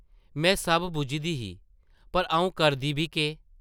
में सब बुझदी ही पर आʼऊं करदी बी केह् ?